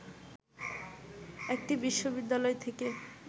একটি বিশ্ববিদ্যালয় থেকে